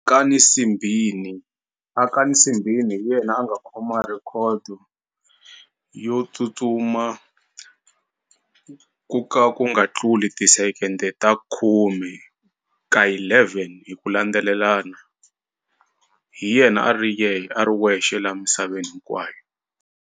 Akani Simbine, Akani Simbine hi yena a nga khoma record yo tsutsuma ku ka ku nga tluli ti-second ta khume ka yi eleven hi ku landzelelana hi yena a ri a ri wexe la misaveni hinkwayo.